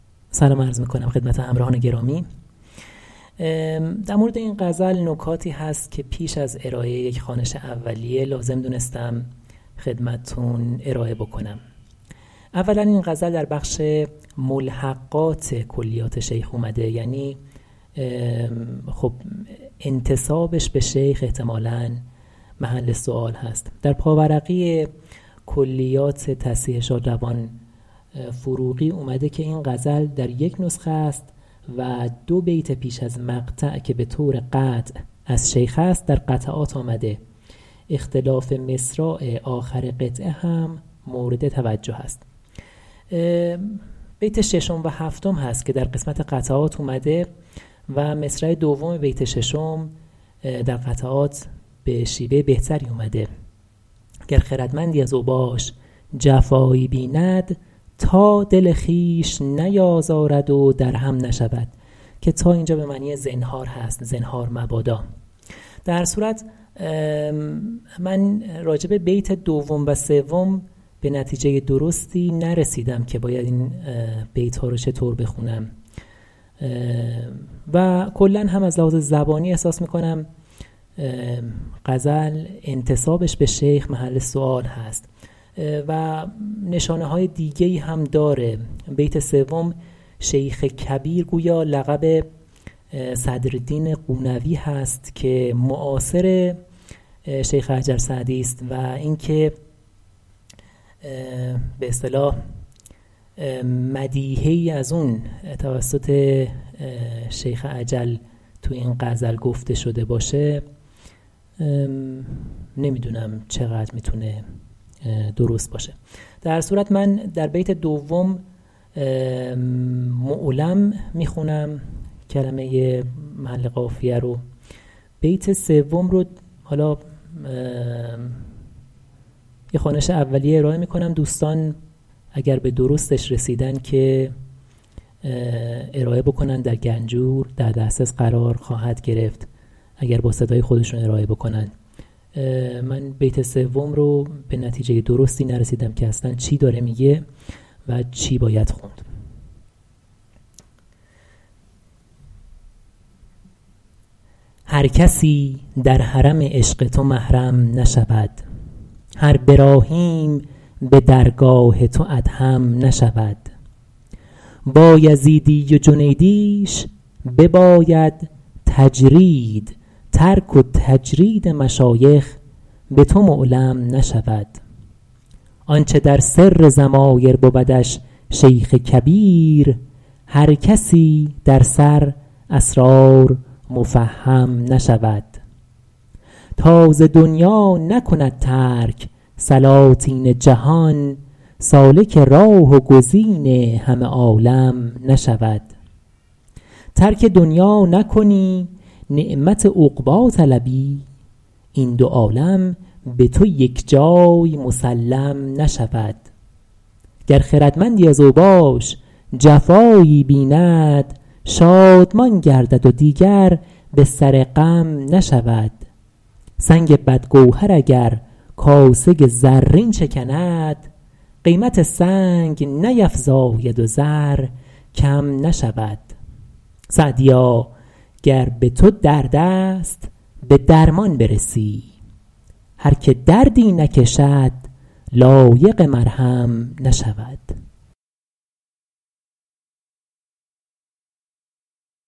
هر کسی در حرم عشق تو محرم نشود هر براهیم به درگاه تو ادهم نشود بایزیدی و جنیدیش بباید تجرید ترک و تجرید مشایخ به تو معلم نشود آنچه در سر ضمایر بودش شیخ کبیر هر کسی در سر اسرار مفهم نشود تا ز دنیا نکند ترک سلاطین جهان سالک راه و گزین همه عالم نشود ترک دنیا نکنی نعمت عقبی طلبی این دو عالم به تو یکجای مسلم نشود گر خردمندی از اوباش جفایی بیند شادمان گردد و دیگر به سر غم نشود سنگ بدگوهر اگر کاسه زرین شکند قیمت سنگ نیفزاید و زر کم نشود سعدیا گر به تو درد است به درمان برسی هر که دردی نکشد لایق مرهم نشود